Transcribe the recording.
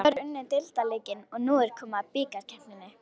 Haukar unnu deildarleikinn og nú er komið að bikarkeppninni.